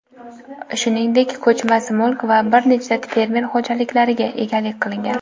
shuningdek ko‘chmas mulk va bir nechta fermer xo‘jaliklariga egalik qilgan.